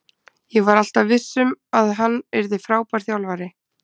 Ég var alltaf viss um að hann yrði frábær þjálfari.